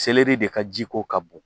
de ka jiko ka bon